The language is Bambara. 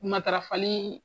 Matarafali